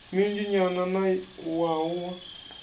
minzhi nyana ya wua a